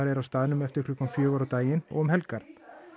er á staðnum eftir klukkan fjögur á daginn og um helgar